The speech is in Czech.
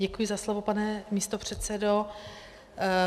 Děkuji za slovo, pane místopředsedo.